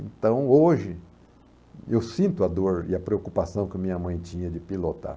Então, hoje, eu sinto a dor e a preocupação que a minha mãe tinha de pilotar.